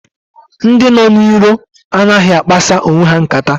Ndị nọ n'iro anaghị akpasa onwe ha nkata.